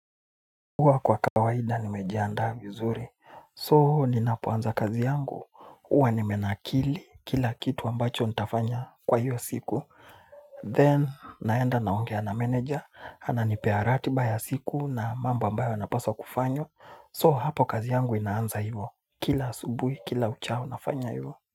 Huwa kwa kawaida nimejiandaa vizuri, so, ninapoanza kazi yangu, huwa nimenakili kila kitu ambacho nitafanya kwa hiyo siku. Then naenda naongea na meneja, ananipa ratiba ya siku na mambo ambayo napaswa kufanya, so hapo kazi yangu inaanza hiyo kila subuhi, kila uchao nafanya hiyo.